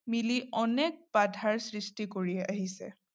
মিলি অনেক বাধাৰ সৃষ্টি কৰি আহিছে।